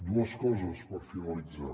dues coses per finalitzar